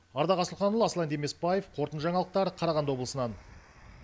ардақ асылханұлы аслан демесбаев қорытынды жаңалықтар қарағанды облысынан